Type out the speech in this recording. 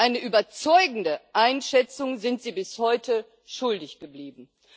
Eine überzeugende Einschätzung sind sie bis heute schuldig geblieben.